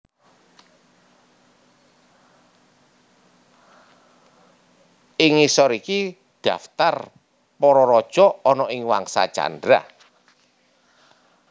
Ing ngisor iki dhaptar para raja ana ing Wangsa Candra